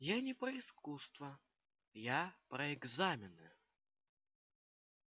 я не про искусство я про экзамены